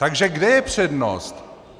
Takže kde je přednost?